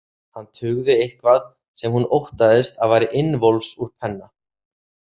Hann tuggði eitthvað sem hún óttaðist að væri innvols úr penna.